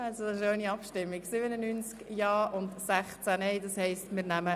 Abstimmung (Antrag Präsidentin des Grossen Rats;